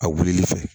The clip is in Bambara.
A wulili fɛ